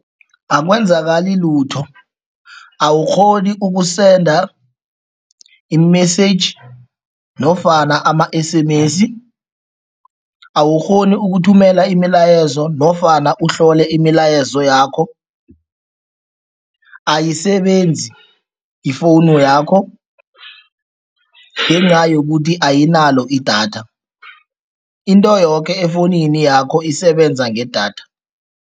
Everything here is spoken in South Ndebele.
Akwenzakalani lutho. Awukghoni ukusenda i-message nofana ama-S_M_S, awukghoni ukuthumela imilayezo nofana uhlole imilayezo yakho, ayisebenzi ifowunu yakho ngenca yokuthi ayinayo idatha. Into yoke efowunini yakho isebenza ngedatha.